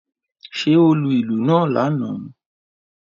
Ṣé ó lù ìlú náà lánàá?